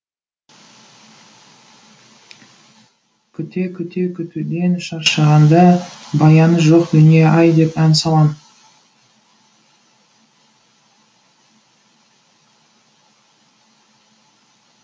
күте күте күтуден шаршағанда баяны жоқ дүние ай деп ән салам